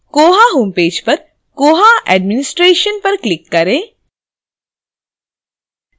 koha home page पर koha administration पर click करें